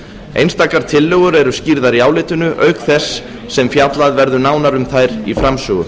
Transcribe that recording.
einstakar tillögur eru skýrðar í álitinu auk þess sem fjallað verður nánar um þær í framsögu